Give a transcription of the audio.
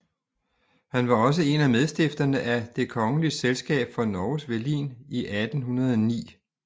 Han var også en af medstifterne af Det Kongelige Selskap for Norges Velin i 1809